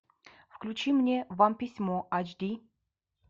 включи мне вам письмо ач ди